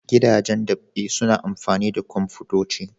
Gidajen dab'i suna amfani da kwamfutoci.